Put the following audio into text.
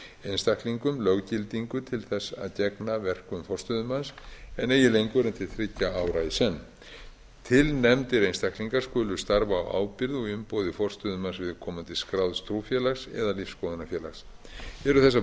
einstaklingum löggildingu til þess að gegna verkum forstöðumanns en eigi lengur en til þriggja ára í senn tilnefndir einstaklingar skulu starfa á ábyrgð og í umboði forstöðumanns viðkomandi skráðs trúfélags eða lífsskoðunarfélags eru þessar